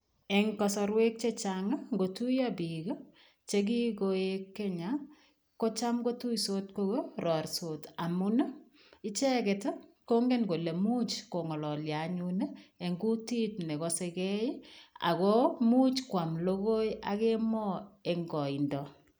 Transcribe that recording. Eng kasarwek che chang, ngotuiyo biik che ki koek Kenya ko cham kotoisot korarisot amun icheget kongen kole much kong'alalio anyun eng kutit ne kosegei ago imuch kwam logoi ak emoo eng kaindo.